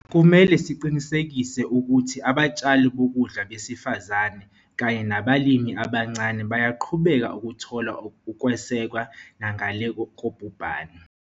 Kumele siqinisekise ukuthi abatshali bokudla besifazane kanye nabalimi abancane bayaqhubeka ukuthola ukwesekwa nangale kobhubhane.